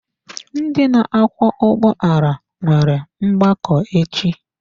Ndị na-akwọ ụgbọala nwere mgbakọ echi.